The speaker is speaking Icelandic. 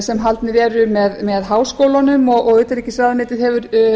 sem haldnir eru með háskólunum og utanríkisráðuneytið hefur